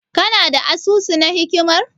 Kana da asusu na hikimar?